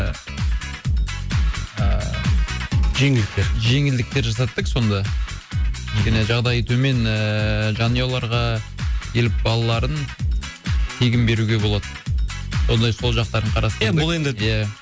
ііі жеңілдіктер жеңілдіктер жасаттық сонда кішкене жағдайы төмен ііі жанұяларға келіп балаларын тегін беруге болады сондай сол жақтарын қарастырдық ия бұл енді ия